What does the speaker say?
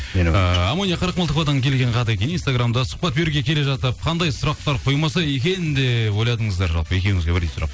ыыы амония қырықмылтықовадан келген хат екен инстаграмда сұхбат беруге келе жатып қандай сұрақтар қоймаса екен деп ойладыңыздар жалпы екеуіңізге бірдей сұрақ